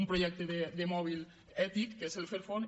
un projecte de mòbils ètic que és el fairphone